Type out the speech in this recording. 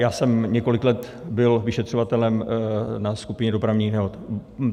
Já jsem několik let byl vyšetřovatelem na skupině dopravních nehod.